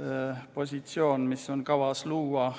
ametikoht, mis on kavas luua.